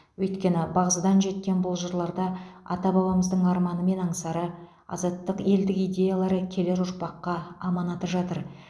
өйткені бағзыдан жеткен бұл жырларда ата бабамыздың арманы мен аңсары азаттық елдік идеялары келер ұрпаққа аманаты жатыр